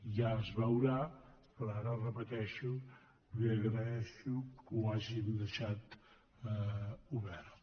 ja es veurà però ara ho re·peteixo li agraeixo que ho hagin deixat obert